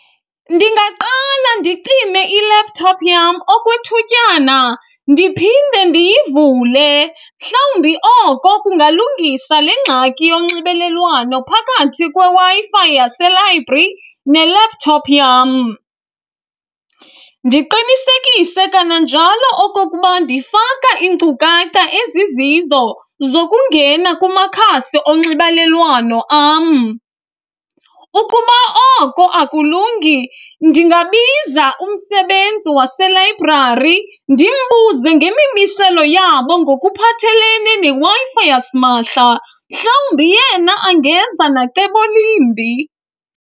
Ndingaqala ndicime i-laptop yam okwethutyana ndiphinde ndiyivule mhlawumbi oko kungalungisa le ngxaki yonxibelelwano phakathi kweWi-Fi yaselayibhri ne-laptop yam. Ndiqinisekise kananjalo okokuba ndifaka iinkcukacha ezizizo zokungena kumakhasi onxibalelwano am. Ukuba oko akulungi ndingabiza umsebenzi waselayibrari ndimbuze ngemimiselo yabo ngokuphathelene neWi-Fi yasimahla, mhlawumbi yena angeza nacebo limbi.